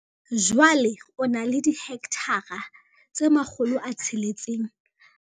Jwale o na le dihekthara tse 662 tsa polasi ya Milindale, mme o hirisa dihekthara tse 150 tsa mobu wa poraevete haufi le Dannhauser.